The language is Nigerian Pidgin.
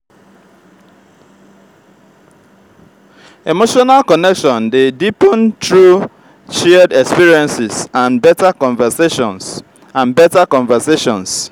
emotional connection dey deepen through shared experiences and better conversations. and better conversations.